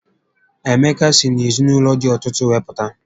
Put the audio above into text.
Emeka si n'ezinaụlọ dị ọtụtụ wee pụta